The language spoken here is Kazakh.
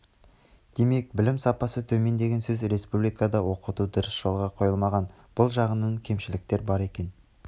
демек білім сапасы төмен деген сөз республикада оқыту дұрыс жолға қойылмаған бұл жағынан кемшіліктер бар екен